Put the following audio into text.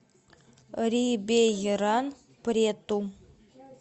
рибейран прету